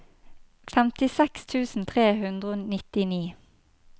femtiseks tusen tre hundre og nittini